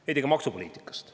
Veidi ka maksupoliitikast.